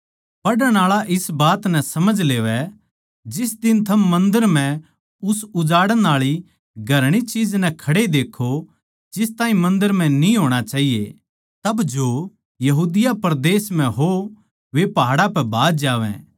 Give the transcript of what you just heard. पढ़णआळा इस बात नै समझ लेवै जिस दिन थम मन्दर म्ह उस उजाड़ण आळी घृणित चीज नै खड़े देक्खो जिस ताहीं मन्दर म्ह न्ही होणा चाहिये तब यहूदी लोग पहाड़ां पै भाज जावैंगे